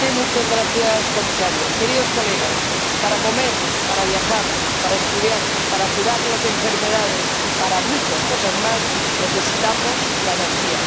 Señor Presidente, señor Comisario, queridos colegas, para comer, para viajar, para estudiar, para curar las enfermedades y para muchas cosas más, necesitamos la energía.